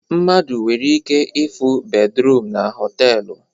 Mmadụ nwere ike ịfụ bed ruum na họtelu